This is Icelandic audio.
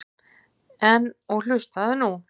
En. og hlustaðu nú